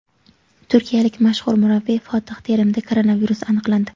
Turkiyalik mashhur murabbiy Fotih Terimda koronavirus aniqlandi.